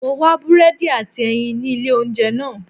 Mo wá búrẹ́dì àti ẹyin ní ilé oúnjẹ náà.